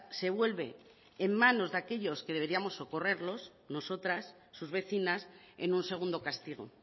se vuelve en manos de aquellos que deberíamos socorrerlos nosotras sus vecinas en un segundo castigo